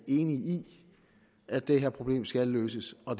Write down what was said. enig i at det her problem skal løses og